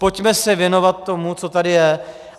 Pojďme se věnovat tomu, co tady je.